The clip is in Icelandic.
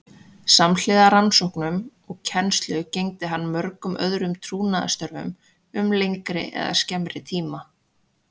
Samhliða rannsóknum og kennslu gegndi hann mörgum öðrum trúnaðarstörfum um lengri eða skemmri tíma.